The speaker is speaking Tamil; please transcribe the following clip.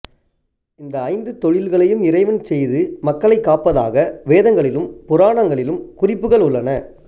இந்த ஐந்தொழில்களையும் இறைவன் செய்து மக்களை காப்பதாக வேதங்களிலும் புராணங்களிலும் குறிப்புகள் உள்ளன